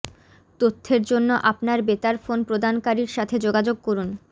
তথ্যের জন্য আপনার বেতার ফোন প্রদানকারীর সাথে যোগাযোগ করুন